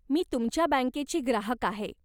मी तुमच्या बँकेची ग्राहक आहे.